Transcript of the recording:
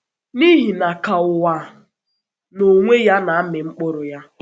N’ihi na ka ụwa na ka ụwa n’onwe ya na-amị mkpụrụ ya,...